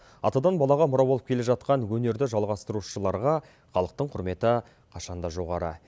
атадан балаға мұра болып келе жатқан өнерді жалғастырушыларға халықтың құрметі қашанда жоғары